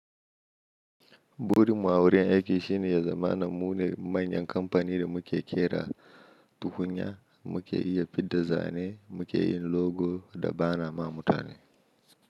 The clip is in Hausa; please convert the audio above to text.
Burin mu a wurin aiki shine ya zaman mu ne manyan kamfani da muke kera tukunya, muke iya fidda zane, muke yin logo da ba na ma mutane.